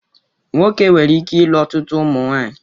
Nwoke nwere ike ịlụ ọtụtụ ụmụnwaanyị.